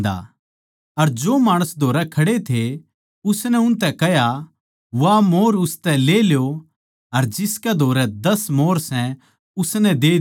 अर जो माणस धोरै खड़े थे उसनै उनतै कह्या वा मोंहर उसतै ले ल्यो अर जिसकै धोरै दस मोंहर सै उसनै दे द्यो